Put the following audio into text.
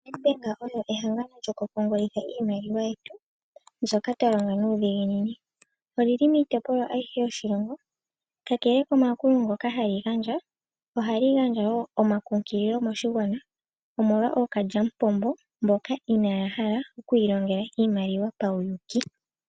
Nedbank oyo ehangano lyoku pungulitha iimaliwa yetu mbyoka twalonga nuudhiginini . Olili miitopolwa ayihe yoshilongo, kakele komayakulo ngoka hali gandja ohali gandja woo omakunkililo moshigwana omolwa ookalyamupombo mboka pauyuuki.